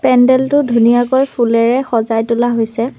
পেণ্ডেলটো ধুনীয়াকৈ ফুলেৰে সজাই তোলা হৈছে।